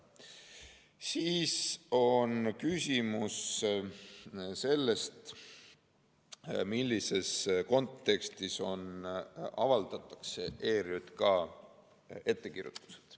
Siis on küsimus selles, millises kontekstis avaldatakse ERJK ettekirjutused.